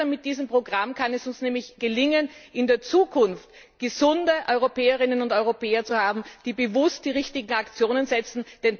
Mit diesem Programm kann es uns nämlich gelingen, in der Zukunft gesunde Europäerinnen und Europäer zu haben, die bewusst die richtigen Aktionen setzen.